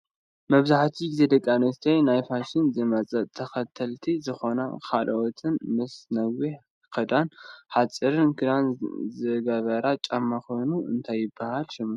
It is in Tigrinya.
መብዛሕቲኡ ግዜ ደቂ ኣንስትዮ ናይ ፋሽን ዝመፀ ተከተልቲ ዝኮነን ካልኦትን ምስ ነዊሕ ክዳን ሓፂርን ክዳን ዝገብረኦ ጫማ ኮይኑ እንታይ ይብሃል ሽሙ?